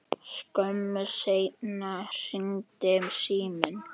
Skömmu seinna hringdi síminn.